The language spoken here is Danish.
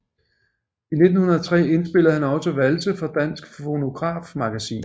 I 1903 indspillede han også valse for Dansk Fonografmagasin